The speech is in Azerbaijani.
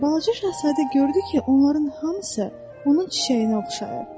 Balaca şahzadə gördü ki, onların hamısı onun çiçəyinə oxşayır.